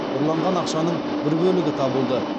ұрланған ақшаның бір бөлігі табылды